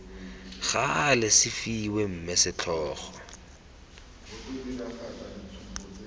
gale se fiwe mme setlhogo